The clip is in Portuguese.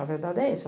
A verdade é essa.